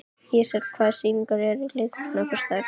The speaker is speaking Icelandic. Ísrael, hvaða sýningar eru í leikhúsinu á föstudaginn?